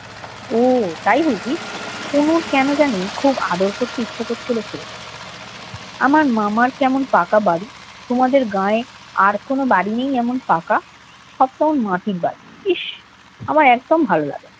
ও তাই বুঝি? তনুর কেন জানি খুব আদর করতে ইচ্ছে করছিল ছেলেটাকে। আমার মামার কেমন পাকা বাড়ি। তোমাদের গাঁয়ে আর কোনো বাড়ি নেই এমন পাকা? সব কেমন মাটির বাড়ি। ইস, আমার একদম ভালো লাগে না।